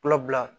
Kulabila